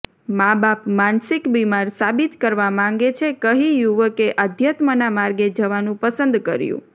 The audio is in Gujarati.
માબાપ માનસિક બિમાર સાબિત કરવા માંગે છે કહી યુવકે આધ્યાત્મના માર્ગે જવાનું પસંદ કર્યું